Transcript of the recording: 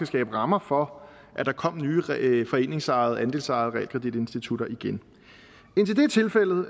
skabe rammer for at der kom nye foreningsejede andelsejede realkreditinstitutter igen indtil